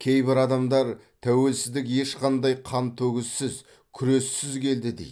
кейбір адамдар тәуелсіздік ешқандай қантөгіссіз күрессіз келді дейді